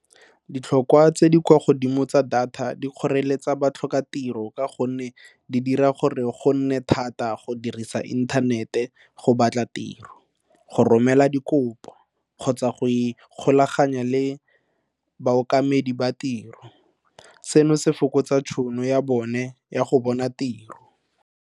Ditlhokwa tse di kwa godimo tsa data di kgoreletsa batlhokatiro ka gonne di dira gore go nne thata go dirisa inthanete go batla tiro, go romela dikopo kgotsa go ikgolaganya le baokamedi ba tiro seno se fokotsa tšhono ya bone ya go bona tiro.